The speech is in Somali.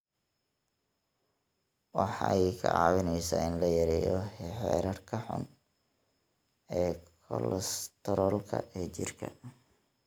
Waxay kaa caawinaysaa in la yareeyo heerarka xun ee kolestaroolka ee jirka.